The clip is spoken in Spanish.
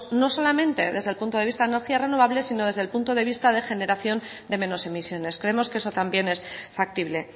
no solamente desde el punto de vista de energías renovables sino desde el punto de vista de generación de menos emisiones creemos que eso también es factible